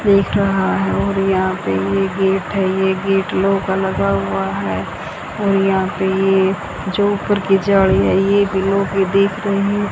दिख रहा है और यहां पर ये गेट है ये गेट लोहे का लगा हुआ है और यहां पे ये जो ऊपर की जाली है ये ब्लू कलर की दिख रही है।